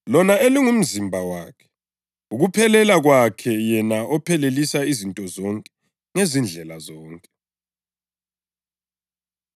UNkulunkulu wabeka izinto zonke ngaphansi kwezinyawo zakhe wamkhetha ukuba abe yinhloko yezinto zonke zebandla,